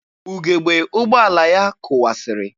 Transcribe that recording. Ugebe ụgbọala ya kụwasịrị.